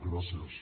gràcies